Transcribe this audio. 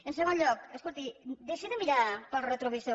en segon lloc escolti deixi de mirar pel retrovisor